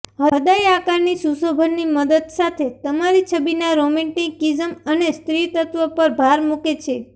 હૃદય આકારની સુશોભનની મદદ સાથે તમારી છબીના રોમેન્ટીકિઝમ અને સ્ત્રીત્વ પર ભાર મૂકે છે